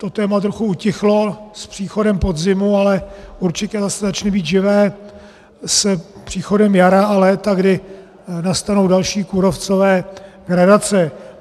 To téma trochu utichlo s příchodem podzimu, ale určitě zase začne být živé s příchodem jara a léta, kdy nastanou další kůrovcové gradace.